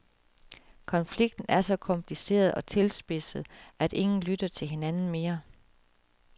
Konflikten er så kompliceret og tilspidset, at ingen lytter til hinanden mere.